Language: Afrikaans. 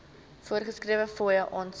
voorgeskrewe fooie aansoek